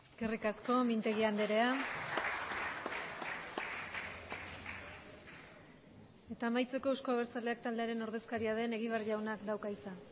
eskerrik asko mintegi andrea eta amaitzeko euzko abertzaleak taldearen ordezkaria den egibar jaunak dauka hitza